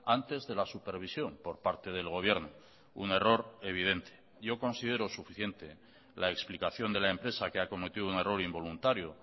antes de la supervisión por parte del gobierno un error evidente yo considero suficiente la explicación de la empresa que ha cometido un error involuntario